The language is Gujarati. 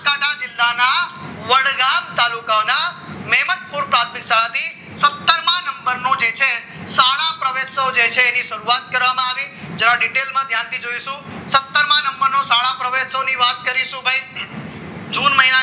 પ્રાથમિક શાળા થી સત્તર માં નંબરનું જે છે શાળા પ્રવેશો જે છે શરૂઆત કરવામાં આવી જો આ detail માં ધ્યાનથી જોઈશું સત્તર માં નંબરનો શાળા પ્રવેશવાની વાત કરીશું ભાઈ જૂન મહિનાના